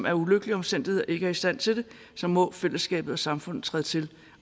af ulykkelige omstændigheder ikke er i stand til det så må fællesskabet og samfundet træde til